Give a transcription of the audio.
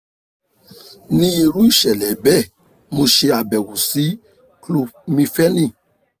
ni iru iṣẹlẹ bẹ mo ṣe abẹwo si "clomifene "